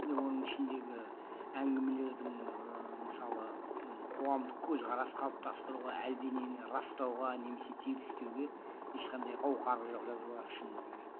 оның ішіндегі әңгімелердің ыыы мысалы қуандық көзқарас қалыпстастыруға әлденені растауға немесе тегістеуге ешқандай қауқары жоқ жазулар шыны керек